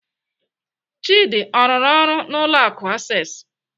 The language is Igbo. Chidi ọ rụrụ ọrụ n'ụlọ akụ Access?